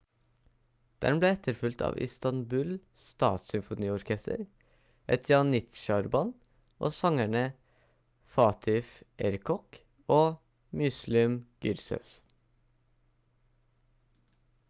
den ble etterfulgt av istanbul statssymfoniorkester et janitsjarband og sangerne fatih erkoç og müslüm gürses